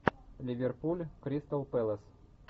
ливерпуль кристал пэлас